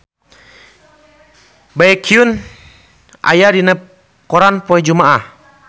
Baekhyun aya dina koran poe Jumaah